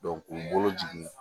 k'u bolo jigin